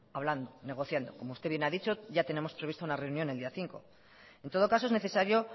hablando negociando como usted bien ha dicho ya tenemos previsto una reunión el día cinco en todo caso es necesario